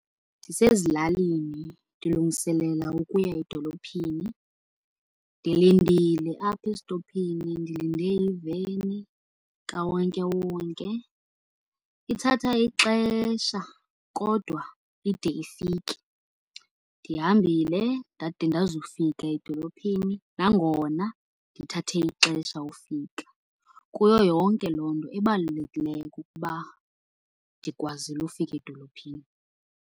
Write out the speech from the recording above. Ndisezilalini ndilungiselela ukuya edolophini. Ndilindile apha esitophini, ndilinde iveni kawonkewonke, ithatha ixesha kodwa ide ifike. Ndihambile ndade ndazofika edolophini nangona ndithathe ixesha ufika. Kuyo yonke loo nto ebalulekileyo kukuba ndikwazile ufika edolophini.